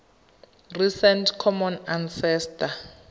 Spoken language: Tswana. recent common ancestor